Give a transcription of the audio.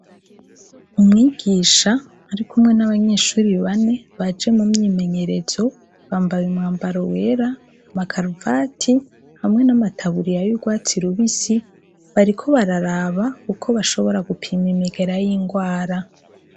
Umwigisha arikumwe n'abanyeshure bane baje mu myimenyerezo, bambaye umwambaro wera, amakaruvati hamwe n'amataburiya y'urwatsi rubisi, bariko bararaba uko bashobora gupima imigera y'ingwara.